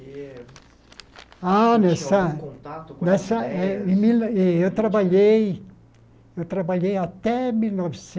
Eh Ah nessa Tinha algum contato Em mil eh eu trabalhei eu tranbalhei até mil